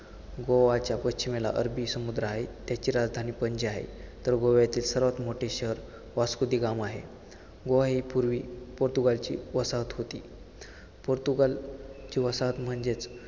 गोव्याच्या पश्चिमेला अरबी समुद्र आहे, त्याची राजधानी पणजी आहे, तर गोव्यातील सर्वात मोठे शहर वास्को दि गामा आहे. गोवा ही पूर्वी पोर्तुगालची वसाहत होती. पोर्तुगाल ची वसाहत म्हणजेच